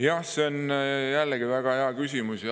Jah, see on jällegi väga hea küsimus.